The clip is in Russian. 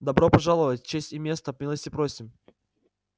добро пожаловать честь и место милости просим